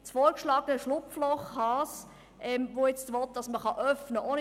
Das vorgeschlagene «Schlupfloch Haas» überzeugt die grüne Fraktion gar nicht.